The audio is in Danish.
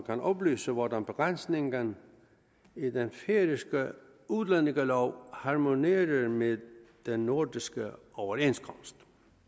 kan oplyse hvordan begrænsningen i den færøske udlændingelov harmonerer med den nordiske overenskomst